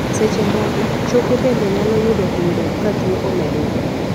seche moko, choke bende nyalo yudo hinyruok ka tuo omedore